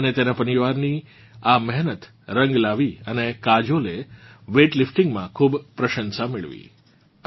તેની અને તેનાં પરિવારની આ મેહનત રંગ લાવી અને કાજોલે વેઇટ લીફ્ટીંગમાં ખૂબ પ્રશંસા મેળવી